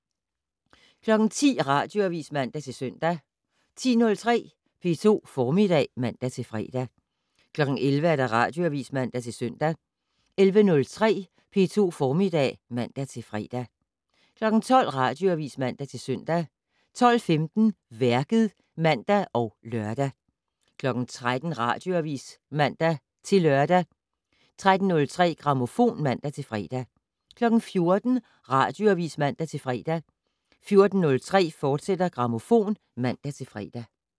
10:00: Radioavis (man-søn) 10:03: P2 Formiddag (man-fre) 11:00: Radioavis (man-søn) 11:03: P2 Formiddag (man-fre) 12:00: Radioavis (man-søn) 12:15: Værket (man og lør) 13:00: Radioavis (man-lør) 13:03: Grammofon (man-fre) 14:00: Radioavis (man-fre) 14:03: Grammofon, fortsat (man-fre)